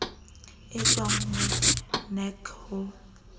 e tswang ho nac ho